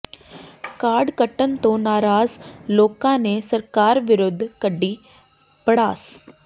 card ਕੱਟਣ ਤੋਂ ਨਾਰਾਜ਼ ਲੋਕਾਂ ਨੇ ਸਰਕਾਰ ਵਿਰੁੱਧ ਕੱਢੀ ਭੜਾਸ